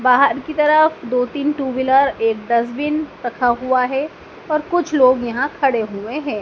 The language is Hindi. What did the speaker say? बाहर की तरफ दो तीन टू व्हीलर एक डस्टबिन रखा हुआ है और कुछ लोग यहां खड़े हुए हैं।